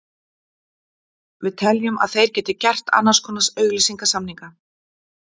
Við teljum að þeir geti gert annars konar auglýsingasamninga.